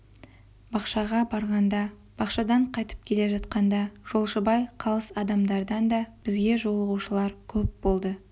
бақшаға барғанда бақшадан қайтып келе жатқанда жолшыбай қалыс адамдардан да бізге жолығушылар көп болды